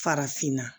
Farafinna